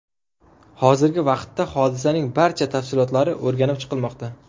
Hozirgi vaqtda hodisaning barcha tafsilotlari o‘rganib chiqilmoqda.